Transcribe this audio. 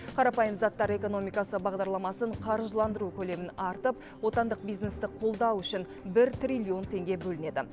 қарапайым заттар экономикасы бағдарламасын қаржыландыру көлемін артып отандық бизнесті қолдау үшін бір триллион теңге бөлінеді